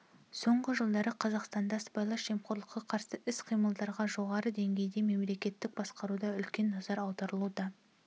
соңғы жылдары қазақстанда сыбайлас жемқорлыққа қарсы іс-қимылдарға жоғары деңгейде мемлекеттік басқаруда үлкен назар аударылуда